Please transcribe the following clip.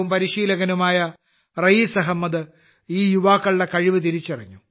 മുൻ ദേശീയ താരവും പരിശീലകനുമായ റയീസ് അഹമ്മദ് ഈ യുവാക്കളുടെ കഴിവ് തിരിച്ചറിഞ്ഞു